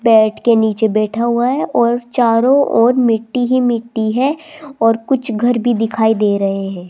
Bed के नीचे बैठा हुआ है और चारों ओर मिट्टी ही मिट्टी हैं और कुछ घर भी दिखाई से रहें हैं।